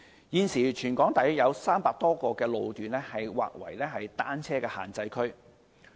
現時，全港約有300多個路段劃為單車限制區。